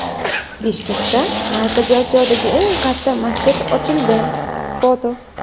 Bishkekda Markaziy Osiyodagi eng katta masjid ochildi (foto).